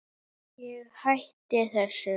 Ég hætti þessu.